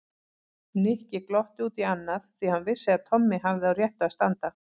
Nikki glotti út í annað því hann vissi að Tommi hafði á réttu að standa.